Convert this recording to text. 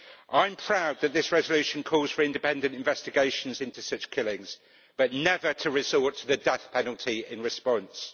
I am proud that this resolution calls for independent investigations into such killings but never to resort to the death penalty in response.